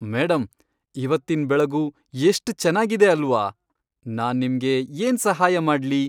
Madam, ಇವತ್ತಿನ್ ಬೆಳಗು ಎಷ್ಟ್ ಚೆನ್ನಾಗಿದೆ ಅಲ್ವಾ? ನಾನ್ ನಿಮ್ಗೆ ಏನ್ ಸಹಾಯ ಮಾಡ್ಲಿ?